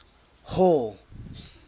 hall